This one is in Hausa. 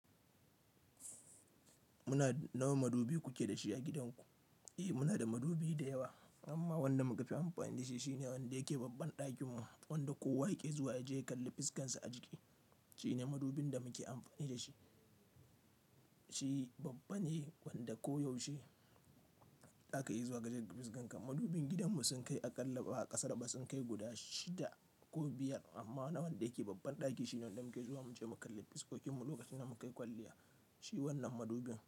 Muna, nawa madubi kuke da shi a gidanku? Eh muna da madubi da yawa amma wanda muka fi amfani da shi shine wanda yake babban ɗakin mu. Wanda kowa yake zuwa ya je ya kalli fuskarsa a jiki. Shine madubin da muke amfani da shi. Shi babban ne wanda koyaushe za ka iya zuwa kaje kalli fuskan ka. Madubin gidan mu sun kai a ƙalla ba ƙasar ba sun kai guda shida ko biyar amma nawanda yake babban ɗaki shine wanda muke zuwa muje mu kalli fuskokin mu lokacin da muke yi kwalliya. Shi wannan madubin.